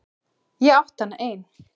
Ég átti hana ein.